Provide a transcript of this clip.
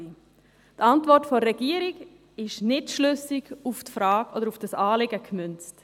Die Antwort der Regierung ist nicht schlüssig auf dieses Anliegen gemünzt.